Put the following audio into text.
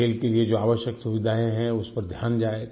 खेल के लिए जो आवश्यक सुविधाएँ हैं उस पर ध्यान जाएगा